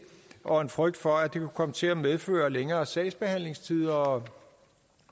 og en frygt for at det kunne komme til at medføre længere sagsbehandlingstider og